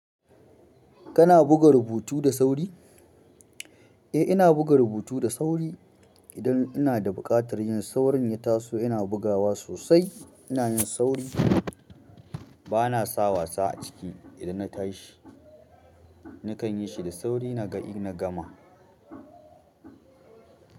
Kana buga rubutu da sauri? Eh ina duga rubutu da sauri. Idan ina da buƙatar yin saurin ya taso ina bugawa sosai. Ina yin sauri. Bana sa wasa a ciki idan na tashi. Nakan yi shi da sauri na ga in na gama.